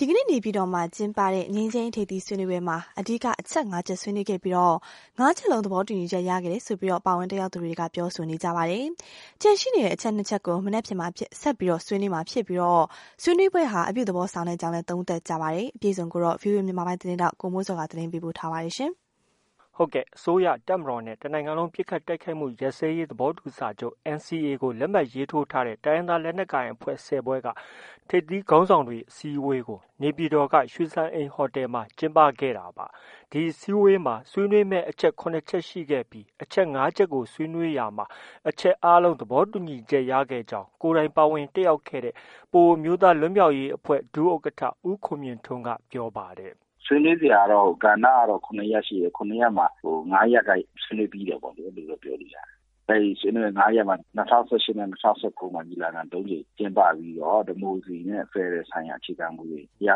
ဒီကနေ့ နေပြည်တော်မှာ ကျင်းပတဲ့ ငြိမ်းချမ်းရေးထိပ်သီးဆွေးနွေးပွဲမှာအဓိက အချက် ၅ချက်ဆွေးနွေးခဲ့ပြီး ၅ချက်လုံး သဘောတူညီချက် ရခဲ့တယ်လို့ ပါဝင်တက်ရောက်သူတွေက ပြောပါတယ်။ ကျန်ရှိနေတဲ့ ၂ချက်ကို မနက်ဖြန်မှာ ဆက်လက်ဆွေးနွေးမှာဖြစ်ပြီး ဆွေးနွေးပွဲဟာ အပြုသဘောဆောင်ကြောင်း သုံးသပ်ကြပါတယ်။ ဒီသတင်းကိုတော့ ဗွီအိုအေမြန်မာပိုင်းရဲ့သတင်းထောက် ကိုမိုးဇော်က ပြောပါတယ်။ အစိုးရ၊ တပ်မတော်နဲ့ တစ်နိုင်ငံလုံးပစ်ခတ်တိုက်ခိုက်မှုရပ်စဲရေးသဘောတူစာချုပ် NCA လက်မှတ်ရေးထိုးထားတဲ့ တိုင်းရင်းသားလက်နက်ကိုင်အဖွဲ့ ၁၀ဖွဲ့က ထိပ်သီးခေါင်းဆောင်တွေ အစည်းအဝေးကို နေပြည်တော် ရွှေစံအိမ်ဟိုတယ်မှာ ကျင်းပခဲ့တာပါ။ ဒီအစည်းအဝေးမှာ ဆွေးနွေးမယ့် အချက် ၇ချက်ရှိခဲ့ပြီး အချက် ၅ချက်ကို ဆွေးနွေးရာမှာ အချက်အားလုံး သဘောတူညီချက်ရခဲ့ကြောင်း ကိုယ်တိုင်ပါဝင်တက်ရောက်တဲ့ ပအိုဝ်းအမျိုးသားလွတ်မြောက်ရေးအဖွဲ့ ဒုဥက္ကဌ ဦးခွန်မြင့်ထွန်းက ပြောပါတယ်။ “ ဆွေးနွေးစရာ ကဏ္ဍကတော့ ၇ရပ်ရှိတယ်။ ၇ရပ်မှာ ၅ရပ်ကတော့ ဆွေးနွေးပြီးတယ်ပေါ့လေ။ အဲလို ပြောလို့ ရတယ်။ အဲဒီ ၅ရပ်မှာ ၂၀၁၈နဲ့ ၂၀၁၉မှာ ညီလာခံ ၃ကြိမ်ကျင်းပပြီးတော့ ဒီမိုကရေစီနဲ့ ဖက်ဒရယ်ဆိုင်ရာ အခြေခံမူတွေ ရ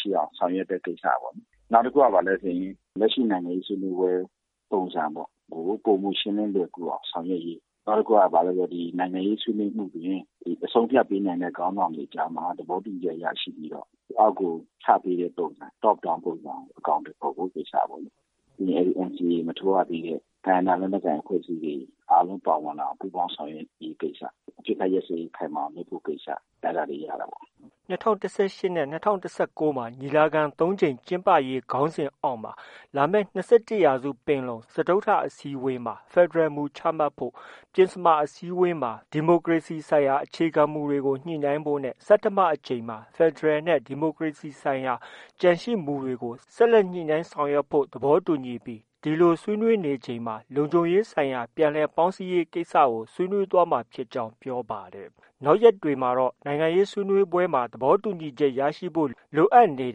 ရှိအောင် ဆောင်ရွက်တဲ့ ကိစ္စ၊ နောက်တခုက လက်ရှိ နိုင်ငံရေးဆွေးနွေးပွဲပုံစံကို ပိုမိုရှင်းလင်းလွယ်ကူအောင်ဆောင်ရွက်ရေး၊ နောက်တခုက နိုင်ငံရေးဆွေးနွေးမှုတွင် အဆုံးအဖြတ်ပေးနိုင်တဲ့ ခေါင်းဆောင်တွေကြားမှာ သဘောတူညီချက်ရရှိပြီးတော့ အောက်ကိုချပေးဖို့ Top Down ပုံစံ အကောင်အထည်ဖော်ဖို့ ကိစ္စ၊ ပြီးရင် NCAလက်မှတ် မထိုးရသေးတဲ့ တိုင်းရင်းသားလက်နက်ကိုင်အဖွဲ့တွေ အားလုံးပါဝင်လာအောင် ပူးပေါင်းဆောင်ရွက်ရေးကိစ္စ၊အပစ်အခတ်ရပ်စဲရေးခိုင်မာအောင် လုပ်ဆောင်ရေးကိစ္စ အဲဒါတွေ ရတာပေါ့။” ၂၀၁၈နဲ့ ၂၀၁၉မှာ ညီလာခံ ၃ကြိမ်ကျင်းပရေးခေါင်းစဉ်အောက်မှာ လာမယ့် ၂၁ရာစု ပင်လုံ စတုတ္ထအစည်းအဝေးမှာ ဖက်ဒရယ်မူတွေချမှတ်ဖို့၊ ပဉ္စမအကြိမ်မှာ ဒီမိုကရေစီဆိုင်ရာအခြေခံမူတွေကို ညှိနှိုင်းဖို့နဲ့ ဆဌမအကြိမ်မှာတော့ ဖက်ဒရယ်နဲ့ ဒီမိုကရေစီဆိုင်ရာ ကျန်ရှိမူတွေ ဆက်လက်ညှိနှိုင်းဆောင်ရွက်ဖို့ နဲ့ ဒီလို ဆွေးနွေးနေချိန်မှာ လုံခြုံရေးဆိုင်ရာ ပြန်လည်ပေါင်းစည်းရေးကိစ္စကို ဆွေးနွေးသွားမှာ ဖြစ်ကြောင်း ပြောပါတယ်။ နောက်ရက်တွေမှာတော့ နိုင်ငံရေးဆွေးနွေးပွဲမှာ သဘောတူညီချက်ရရှိဖို့ လိုအပ်နေ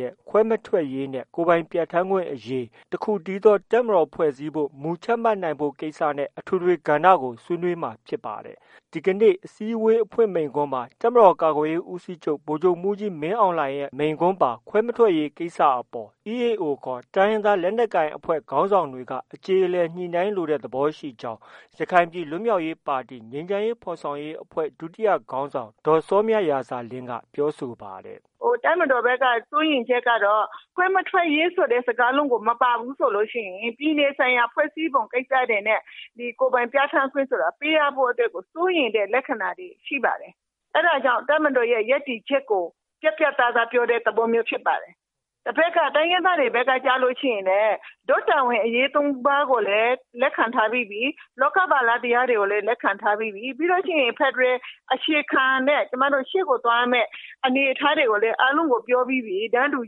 တဲ့ ကိစ္စတွေဖြစ်တဲ့ ခွဲမထွက်ရေးနဲ့ ကိုယ်ပိုင်ပြဌာန်းခွင့်အရေးနဲ့ တစ်ခုတည်းသော တပ်မတော်ဖွဲ့စည်းဖို့ မူချမှတ်နိုင်ဖို့ ကိစ္စ နဲ့ အထွေထွေ ကဏ္ဍကို ဆွေးနွေးမှာ ဖြစ်ပါတယ်။ ဒီကနေ့ အစည်းအဝေးအဖွင့်မိန့်ခွန်းမှာ တပ်မတော်ကာကွယ်ရေးဦးစီးချုပ် ဗိုလ်ချုပ်မှုးကြီး မင်းအောင်လှိုင်နဲ့ မိန့်ခွန်းပါ ခွဲမထွက်ရေးကိစ္စအပေါ် EAO ခေါ် လက်နက်ကိုင်တိုင်းရင်းသားခေါင်းဆောင်တွေက အကျေအလည်ညှိနှိုင်းလိုတဲ့ သဘောရှိကြကြောင်း ရခိုင်ပြည်လွတ်မြောက်ရေးပါတီ ငြိမ်းချမ်းရေးဖော်ဆောင်ရေးအဖွဲ့ ဒုတိယခေါင်းဆောင် ဒေါ်စောမြရာဇာလင်းက အခုလို ပြောပါတယ်။ “ တပ်မတော်ဘက်က စိုးရိမ်ချက်ကတော့ ခွဲမထွက်ရေးဆိုတဲ့ စကားလုံး မပါဘူးဆိုရင် ပြည်နယ်ဆိုင်ရာ ဖွဲ့စည်းပုံကိစ္စတွေနဲ့ ကိုယ်ပိုင်ပြဌာန်းခွင့်ဆိုတာ ပေးရဖို့ အတွက်ကို စိုးရိမ်တဲ့ လက္ခဏာတွေ ရှိပါတယ်။ အဲဒါကြောင့် တပ်မတော်ရဲ့ ရပ်တည်ချက်ကို ပြတ်ပြတ်သားသားပြောတဲ့ သဘောဖြစ်ပါတယ်။ တိုင်းရင်းသားတွေဘက်ကကျရင်လည်း တို့တာဝန်အရေး၃ပါးကိုလည်း လက်ခံထားပြီးပြီ၊ လောကပါလ တရားတွေကိုလည်း လက်ခံထားပြီးပြီ၊ ပြီးရင် ဖက်ဒရယ်အခြေခံနဲ့ ရှေ့ကိုသွားရမယ့် အခြေခံတွေကိုလည်း အားလုံးကို ပြောပြီးပြီ။ တန်းတူ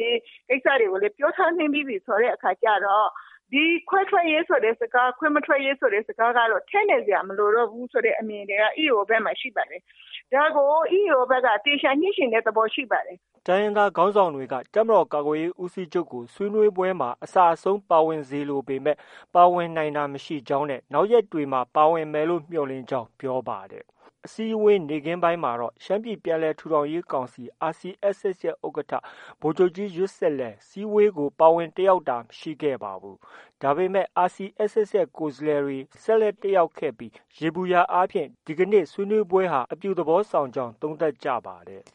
ရေးကိစ္စတွေကိုလည်း ပြောထားပြီးပြီဆိုတဲ့အခါကျတော့ ဒီခွဲထွက်ရေးဆိုတဲ့စကား၊ ခွဲမထွက်ရေးဆိုတဲ့စကားက ထည့်နေစရာမလိုတော့ဘူးဆိုတဲ့အမြင်က EAO ဘက်မှာ ရှိနေပါတယ်။ ဒါကို EAO ဘက်က သေချာညှိချင်တဲ့ သဘောရှိပါတယ်။” တိုင်းရင်းသားခေါင်းဆောင်တွေက တပ်မတော်ကာကွယ်ရေးဦးစီးချုပ်ကို ဆွေးနွေးပွဲမှာ အစအဆုံးပါဝင်စေလိုပေမဲ့ ပါဝင်နိုင်တာမရှိကြောင်း၊ နောက်ရက်တွေမှာ ပါဝင်မယ်လို့ မျှော်လင့်ကြောင်း ပြောပါတယ်။ အစည်းအဝေးနေ့ခင်းပိုင်းမှာတော့ ရှမ်းပြည်ပြန်လည်ထူထောင်ရေးကောင်စီ RCSS ရဲ့ ဥက္ကဌ ဗိုလ်ချုပ်ကြီးယွတ်ဆစ်လည်း အစည်းအဝေးကို ပါဝင်တက်ရောက်တာမရှိခဲ့ပါဘူး။ ဒါပေမဲ့ RCSS ရဲ့ ကိုယ်စားလှယ်တွေ ဆက်လက်တက်ရောက်ခဲ့ပြီး ယေဘူယျအားဖြင့် ဒီကနေ့ ဆွေးနွေးပွဲဟာ အပြုသဘောဆောင်ကြောင်း သုံးသပ်ကြပါတယ်။